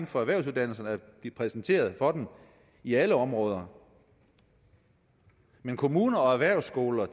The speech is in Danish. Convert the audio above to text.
for erhvervsuddannelserne at blive præsenteret for dem i alle områder men kommuner og erhvervsskoler